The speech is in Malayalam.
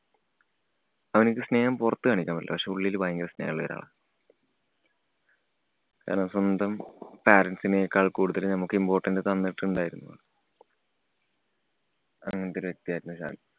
അവന്ക്ക് സ്നേഹം പൊറത്ത് കാണിക്കാന്‍ പറ്റില്ല. പക്ഷേ, ഉള്ളില് ഭയങ്കര സ്നേഹം ഉള്ള ഒരാളാണ്. കാരണം സ്വന്തം parents നേക്കാള്‍ കൂടുതല് നമ്മക്ക് important തന്നിട്ടുണ്ടായിരുന്നു. അങ്ങനത്തെ ഒരു വ്യക്തിയായിരുന്നു ഷാന്‍.